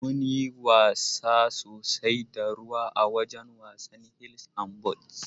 Mun yi wasa sosai da ruwa awajan wasan hils an balli